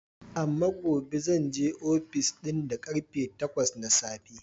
Amma gobe zan je ofis din da ƙarfe takwas na safe.